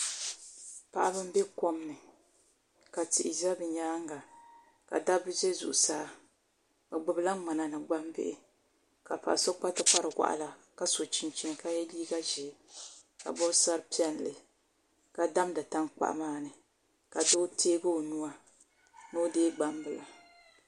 Paɣaba n bɛ kom ni ka tihi ʒɛ bi nyaanga ka dabba ʒɛ zuɣusaa bi gbubila ŋmana ni gbambihi ka paɣa so kpa tikpari waɣala ka so chinchin ka yɛ liiga ʒiɛ ka bob sari piɛlli. Ka damdi tankpaɣu maa ni ka doo tiɛgi o nuu ni o deegi gbambila